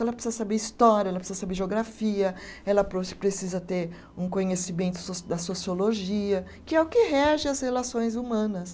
Ela precisa saber história, ela precisa saber geografia, ela precisa ter um conhecimento so da sociologia, que é o que rege as relações humanas.